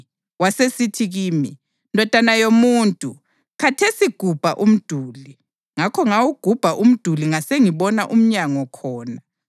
Wasesithi kimi, “Ndodana yomuntu, khathesi gubha umduli.” Ngakho ngawugubha umduli ngasengibona umnyango khona.